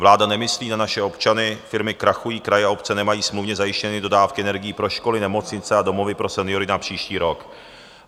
Vláda nemyslí na naše občany, firmy krachují, kraje a obce nemají smluvně zajištěny dodávky energií pro školy, nemocnice a domovy pro seniory na příští rok.